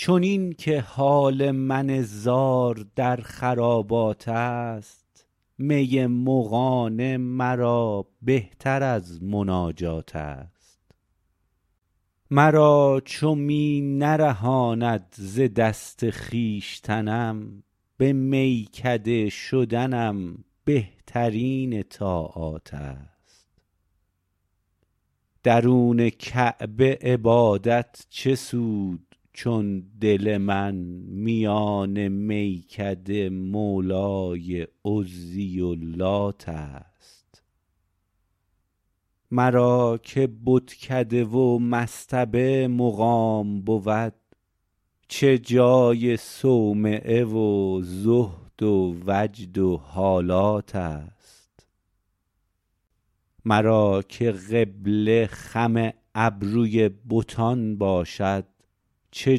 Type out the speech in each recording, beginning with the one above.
چنین که حال من زار در خرابات است می مغانه مرا بهتر از مناجات است مرا چو می نرهاند ز دست خویشتنم به میکده شدنم بهترین طاعات است درون کعبه عبادت چه سود چون دل من میان میکده مولای عزی و لات است مرا که بتکده و مصطبه مقام بود چه جای صومعه و زهد و وجد و حالات است مرا که قبله خم ابروی بتان باشد چه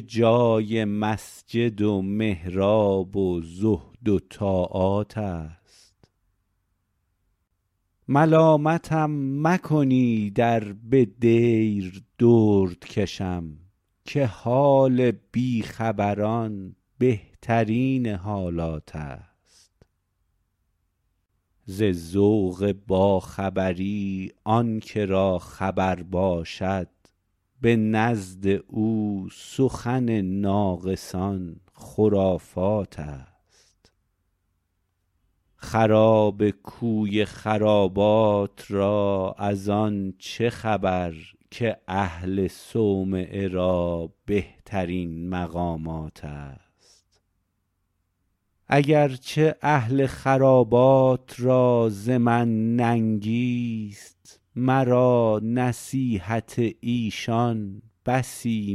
جای مسجد و محراب و زهد و طاعات است ملامتم مکنید ار به دیر درد کشم که حال بی خبران بهترین حالات است ز ذوق با خبری آن که را خبر باشد به نزد او سخن ناقصان خرافات است خراب کوی خرابات را از آن چه خبر که اهل صومعه را بهترین مقامات است اگر چه اهل خرابات را ز من ننگی است مرا نصیحت ایشان بسی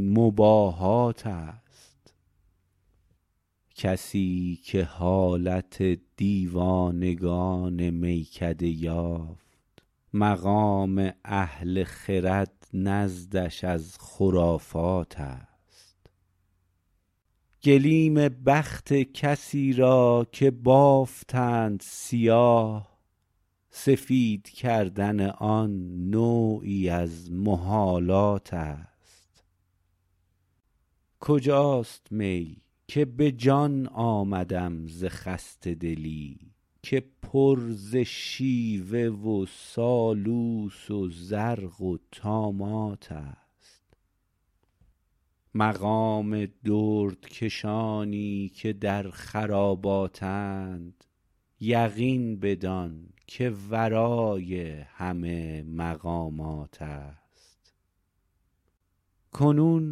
مباهات است کسی که حالت دیوانگان میکده یافت مقام اهل خرد نزدش از خرافات است گلیم بخت کسی را که بافتند سیاه سفید کردن آن نوعی از محالات است کجاست می که به جان آمدم ز خسته دلی که پر ز شیوه و سالوس و زرق و طامات است مقام دردکشانی که در خراباتند یقین بدان که ورای همه مقامات است کنون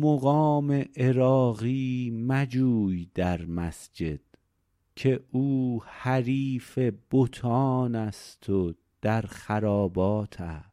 مقام عراقی مجوی در مسجد که او حریف بتان است و در خرابات است